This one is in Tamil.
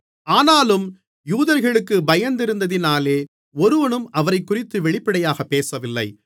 ஆனாலும் யூதர்களுக்குப் பயந்திருந்ததினாலே ஒருவனும் அவரைக்குறித்து வெளிப்படையாக பேசவில்லை